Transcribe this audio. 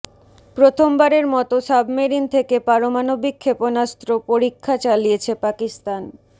প্রথমবারের মতো সাবমেরিন থেকে পারমাণবিক ক্ষেপণাস্ত্র পরীক্ষা চালিয়েছে পাকিস্তান